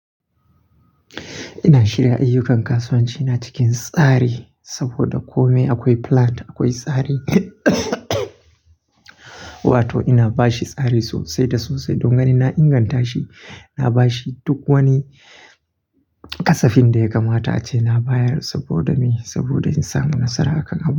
Ina shirya ayyukan kasuwanci na cikin tsari saboda kome akwai plan, akwai tsari. Wato ina bashi tsari sosai da sosai. Don ganin na inganta shi, na bashi duk wani ƙasafin da ya kamata ace na bayar saboda me? Saboda in samu nasara a kan abu.